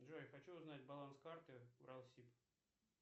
джой хочу узнать баланс карты уралсиб